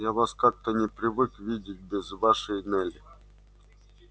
я вас как-то не привык видеть без вашей нелли